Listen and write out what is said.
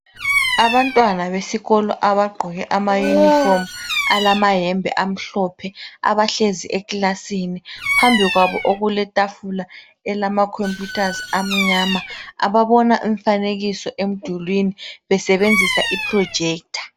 Abantwana besikolo abagqoke amayunifomu alamayembe amhlophe abahlezi ekilasini. Phambi kwabo okuletafula elamakhompuyuthazi amnyama ababona imfanekiso emdulwini besebenzisa iprojector.